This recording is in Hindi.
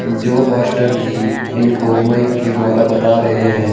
जो पास्टर जी इनको माइक के द्वारा बता रहे हैं।